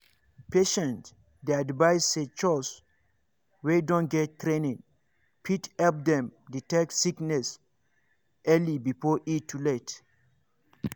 patients dey advised say chws wey don get training fit help dem detect sickness early before e too late.